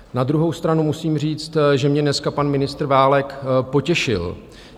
Na druhou stranu musím říct, že mě dneska pan ministr Válek potěšil.